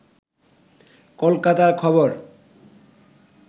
কলকাতা খবর